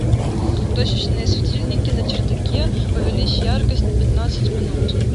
точечные светильники на чердаке увеличь яркость на пятнадцать минут